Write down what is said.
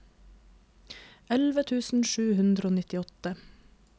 elleve tusen sju hundre og nittiåtte